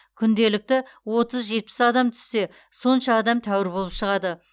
күнделікті отыз жетпіс адам түссе сонша адам тәуір болып шығады